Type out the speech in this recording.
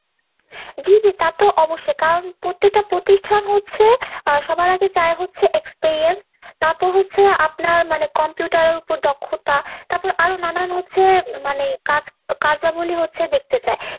জি জি তাতো অবশ্যই। কারণ পত্তেকটা প্রতিষ্ঠান হচ্ছে সবার আগে চায় হচ্ছে experience। তারপর হচ্ছে আপনার মানে computer এর ওপর দক্ষতা, তারপর আরো নানান হচ্ছে মানে কাজ~ কার্যাবলী হচ্ছে দেখতে চায়।